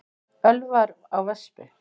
Ölvaður á vespu